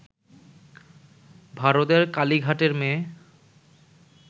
ভারতের কালিঘাটের মেয়ে